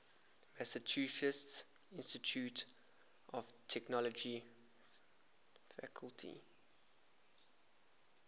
massachusetts institute of technology faculty